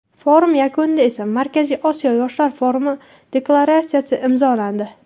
Forum yakunida esa Markaziy Osiyo yoshlar forumi deklaratsiyasi imzolandi.